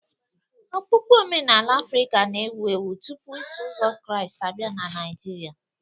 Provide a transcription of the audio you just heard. Okpukpe Omenala Afrịka na-ewu ewu tupu Iso Ụzọ Kraịst abịa na Naijiria